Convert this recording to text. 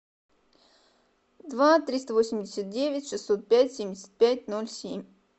два триста восемьдесят девять шестьсот пять семьдесят пять ноль семь